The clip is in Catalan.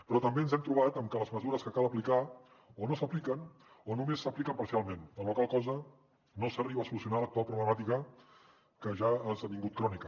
però també ens hem trobat amb que les mesures que cal aplicar o no s’apliquen o només s’apliquen parcialment amb la qual cosa no s’arriba a solucionar l’actual problemàti·ca que ja ha esdevingut crònica